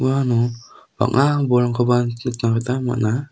uano bang·a bolrangkoba nikna gita man·a.